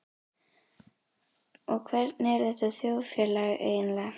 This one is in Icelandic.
Og hvernig er þetta þjóðfélag eiginlega?